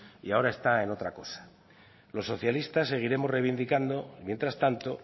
y ahora está en otra cosa los socialistas seguiremos reivindicando mientras tanto